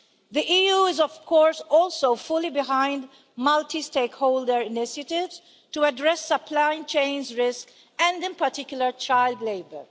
The EU is of course also fully behind a multi stakeholder initiative to address supply chains risk, and in particular child labour.